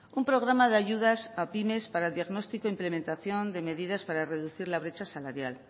un programa de ayudas a pymes para el diagnostico implementación de medidas para reducir la brecha salarial